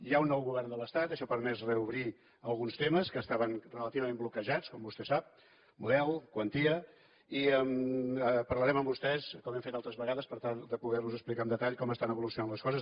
hi ha un nou govern de l’estat això ha permès reobrir alguns temes que estaven relativament bloquejats com vostè sap model quantia i en parlarem amb vostès com hem fet altres vegades per tal de poder los explicar amb detall com estan evolucionant les coses